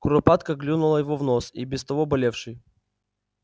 куропатка клюнула его в нос и без того болевший